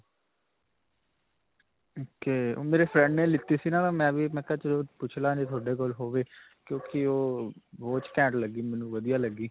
ok. ਓਹ ਮੇਰੇ friend ਨੇ ਲਿੱਤੀ ਸੀ ਨਾਂ ਮੈਂ ਵੀ, ਮੈਂ ਕਿਹਾ ਚਲੋ ਪੁੱਛ ਲਵਾਂ, ਜੇ ਤੁਹਾਡੇ ਕੋਲ ਹੋਵੇ ਕਿਉਂਕਿ ਓਹ watch ਕੈਂਟ ਲੱਗੀ ਮੇਨੂੰ ਵਧੀਆ ਲੱਗੀ.